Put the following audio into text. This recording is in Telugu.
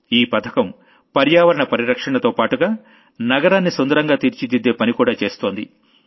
ఈ పథకం పర్యావరణ పరిరక్షణతోపాటుగా నగరాన్ని సుందరంగా తీర్చిదిద్దే పని కూడా చేస్తోంది